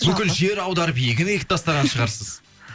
бүкіл жер аударып егін егіп тастаған шығарсыз